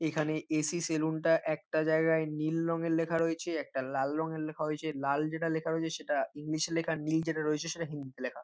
এখানে AC. Saloon টা একটা জায়গায় নীল রঙের লেখা রয়েছে একটা লাল রঙের লেখা হয়েছে লাল যেটা লেখা রয়েছে সেটা ইংলিশ এ লেখা নীল যেটা রয়েছে সেটা হিন্দিতে লেখা।